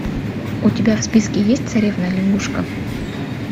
у тебя в списке есть царевна лягушка